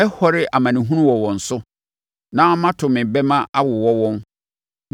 “Mɛhɔre amanehunu wɔ wɔn so na mato me bɛmma awowɔ wɔn.